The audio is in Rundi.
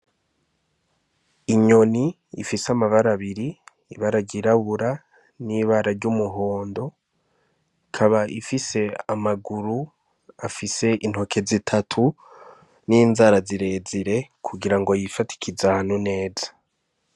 Inyoni ifise amabara abiri, ibara ryirabura n'ibara ry'umuhondo. Ikaba ifise amaguru afise intoke zitatu n'inzara zirezire kugira ngo yifadikize ahantu neza.